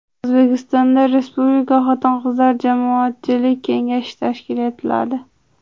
O‘zbekistonda Respublika xotin-qizlar jamoatchilik kengashi tashkil etiladi.